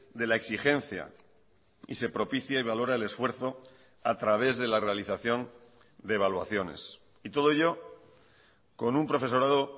de la exigencia y se propicia y valora el esfuerzo a través de la realización de evaluaciones y todo ello con un profesorado